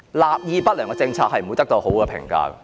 立意不良的政策是不會得到好評價的......